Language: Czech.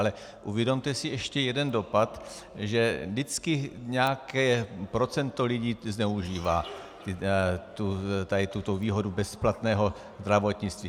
Ale uvědomte si ještě jeden dopad - že vždycky nějaké procento lidí zneužívá tuto výhodu bezplatného zdravotnictví.